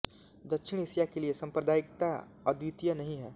दक्षिण एशिया के लिए सांप्रदायिकता अद्वितीय नहीं है